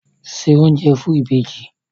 Se oúnjẹ fún ìbejì!